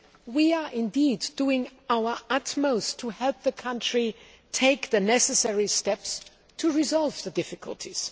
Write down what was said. We are doing our utmost to help the country take the necessary steps to resolve the difficulties.